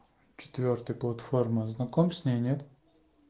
четвёртый платформа знаком с ней нет